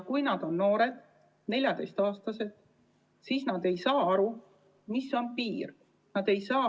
Kui nad on liiga noored, 14-aastased, siis nad ei saa aru, kus on piir.